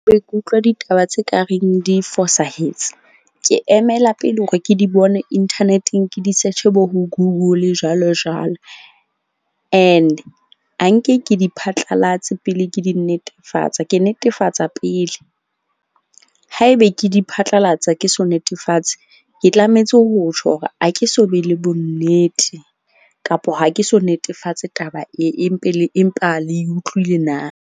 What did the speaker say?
Ke utlwa ditaba tse kareng di fosahetse. Ke emela pele hore ke di bone inthaneteng, ke di search-e bo google jwalo jwalo. And ha nke ke di phatlalatse pele ke di netefatsa. Ke netefatsa pele haebe ke di phatlalatsa ke so netefatse. Ke tlametse ho tjho hore ha ke so be le bonnete kapo ha ke so netefatse taba e e mpe le empa le e utlwile na.